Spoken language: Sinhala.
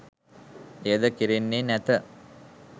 එයද කෙරෙන්නේ නැත.